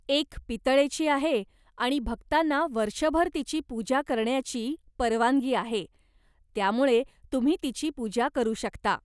एक पितळेची आहे आणि भक्तांना वर्षभर तिची पूजा करण्याची परवानगी आहे, त्यामुळे तुम्ही तिची पूजा करू शकता.